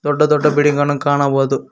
ದೊಡ್ಡ ದೊಡ್ಡ ಬಿಲ್ಡಿಂಗ್ ಅನ್ನು ಕಾಣಬಹುದು.